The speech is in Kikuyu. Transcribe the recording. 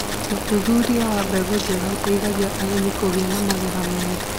thuthuria wa mbegũ njega ũteithagia arĩmi kũgia na magetha mega